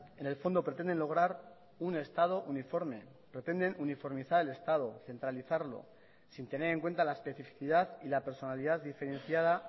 en el fondo pretenden lograr un estado uniforme pretenden uniformizar el estado centralizarlo sin tener en cuenta la especificidad y la personalidad diferenciada